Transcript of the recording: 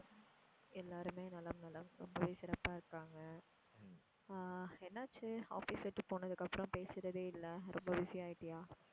எல்லாருமே நலம் நலம். ரொம்பவே சிறப்பா இருக்காங்க. ஆஹ் என்னாச்சு office விட்டு போனதுக்கு அப்பறம் பேசுறதே இல்ல? ரொம்ப busy ஆயிட்டியா?